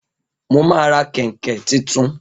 Mo ma ra kèǹkè titun